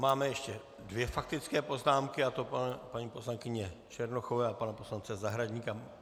Máme ještě dvě faktické poznámky, a to paní poslankyně Černochové a pana poslance Zahradníka.